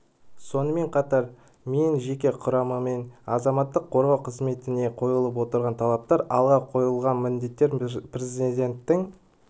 сонымен қатар мен жеке құрамымен азаматтық қорғау қызметіне қойылып отырған талаптар алға қойылған міндеттер президентінің